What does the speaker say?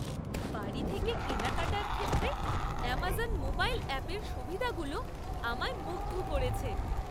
বাড়ি থেকে কেনাকাটার ক্ষেত্রে অ্যামাজন মোবাইল অ্যাপের সুবিধাগুলো আমায় মুগ্ধ করেছে।